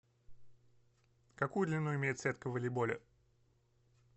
какую длину имеет сетка в волейболе